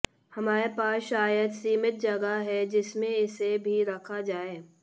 हमारे पास शायद सीमित जगह है जिसमें इसे भी रखा जाए